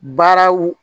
Baaraw